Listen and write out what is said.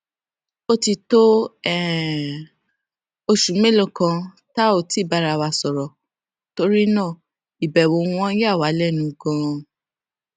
ó ti tó um oṣù mélòó kan tá ò ti bára wa sòrò torí náà ìbẹwò wọn yà wá lénu ganan